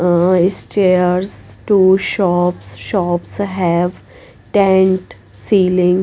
Ahh is chairs to shops shops have tent ceiling.